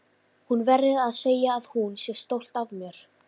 Hún verði að segja að hún sé stolt af mér.